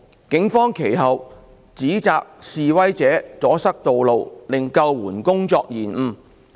警方其後指摘示威者阻塞道路令救援工作受延誤。